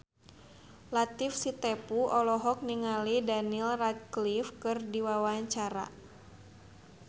Latief Sitepu olohok ningali Daniel Radcliffe keur diwawancara